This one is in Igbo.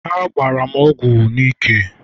ha gbara m ogwu n'ala..